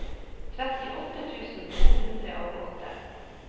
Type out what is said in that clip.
trettiåtte tusen to hundre og åtte